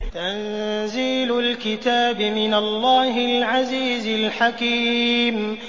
تَنزِيلُ الْكِتَابِ مِنَ اللَّهِ الْعَزِيزِ الْحَكِيمِ